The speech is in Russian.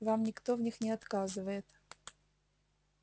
вам никто в них не отказывает